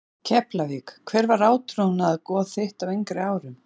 Keflavík Hver var átrúnaðargoð þitt á yngri árum?